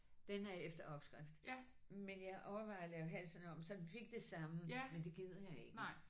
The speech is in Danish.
Den er efter opskrift. Men jeg overvejede at lave halsen om så den fik det samme men det gider jeg ikke